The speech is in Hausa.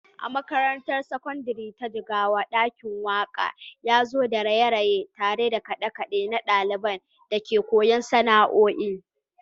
A makarantar Sakandare ta Jigawa, ɗakin waƙa ya zo da raye-raye tare da kaɗe-kaɗe na ɗ\aliban da ke koyon sana’o’i.